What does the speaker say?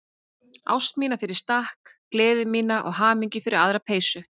Ást mína fyrir stakk, gleði mína og hamingju fyrir aðra peysu.